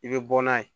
I bɛ bɔ n'a ye